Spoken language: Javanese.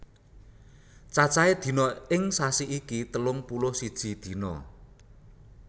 Cacahe dina ing sasi iki telung puluh siji dina